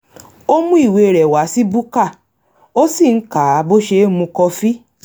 ó mú ìwé rẹ̀ wá sí búkà ó sì ń kà á bó ṣe ń mu kọfí